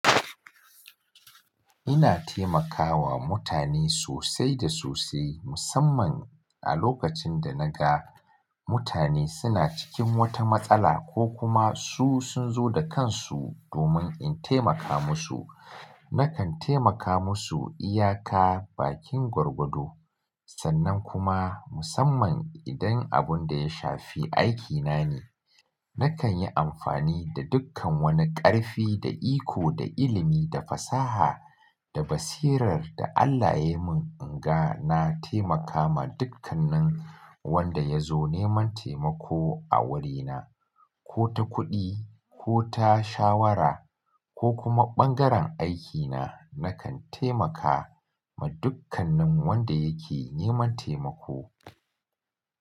Ina taimakawa mutane sosai da sosai musamman a lokacin da naga mutane suna cikin wata matsala ko kuma su sun zo da kansu domin in taimaka musu. Nakan taimaka musu iyaka, bakin gwargwado sannan kuma musamman idan abun da ya shafi aikina ne nakan yi amfani da dukkan wani ƙarfi da iko da ilimi da fasaha da basirar da Allah ya yi mun in ga na taimakawa dukkan nin wanda ya zo neman taimako a wurina ko ta kuɗi ko ta shawara ko kuma ɓangaren aikina nakan taimaka ma dukkan nin wanda yake neman taimako.